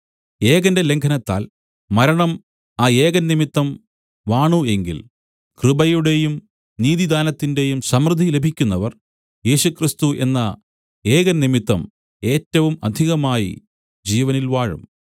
ഏകന്റെ ലംഘനത്താൽ മരണം ആ ഏകൻ നിമിത്തം വാണു എങ്കിൽ കൃപയുടെയും നീതിദാനത്തിന്റെയും സമൃദ്ധിലഭിക്കുന്നവർ യേശുക്രിസ്തു എന്ന ഏകൻ നിമിത്തം ഏറ്റവും അധികമായി ജീവനിൽ വാഴും